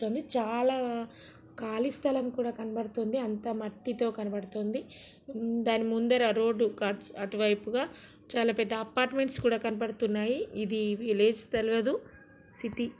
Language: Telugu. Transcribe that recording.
చాలా కాళి స్థలం కూడా కనపడుతోంది. అంతా మట్టితో కనపడుతోంది దాని ముందర రోడ్డు అటు వైపుగా చాలా పెద్ద అపార్ట్మెంట్స్ కూడా కనిపడుతున్నాయి ఇది విలేజ్ తెల్వదు సిటీ .